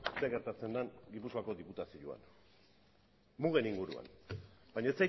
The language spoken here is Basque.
zer gertatzen den gipuzkoako diputazioan mugen inguruan baina